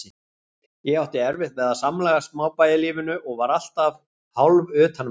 Ég átti erfitt með að samlagast smábæjarlífinu og var alltaf hálfutanveltu.